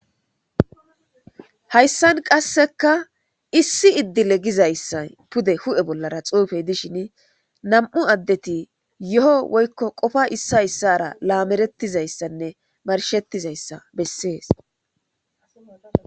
Hayssan qasseka issi iddi legizayssa pude hu'e bollara xuufey dishin nam'u addeti yo'o woykko qofa issayssara laamerettizayssanne marshettizayssa bessees.